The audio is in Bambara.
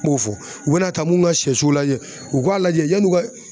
N b'o fɔ u bɛna taa mun ka siyɛso lajɛ u k'a lajɛ yann'u ka